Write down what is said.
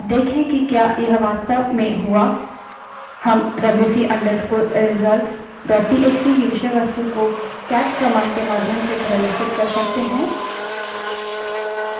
अब देखें कि क्या यह वास्तव में हुआ हम wc _ results WC _ result dot TXT की विषयवस्तु को केट command के माध्यम से प्रदर्शित कर सकते हैं